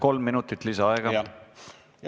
Palun, kolm minutit lisaaega!